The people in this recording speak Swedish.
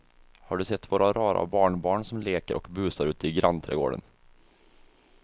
Har du sett våra rara barnbarn som leker och busar ute i grannträdgården!